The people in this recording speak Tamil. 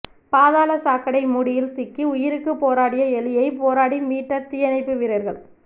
பாதாள சாக்கடை மூடியில் சிக்கி உயிருக்கு போராடிய எலியை போராடி மீட்ட தீயணைப்பு வீரர்கள்